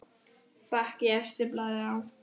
Bakki efstur blaði á.